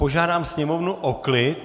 Požádám sněmovnu o klid.